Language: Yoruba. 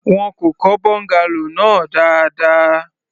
Wọn kò kọ́ bungalow náà dáadáa.